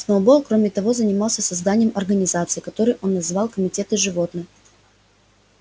сноуболл кроме того занимался созданием организаций которые он называл комитеты животных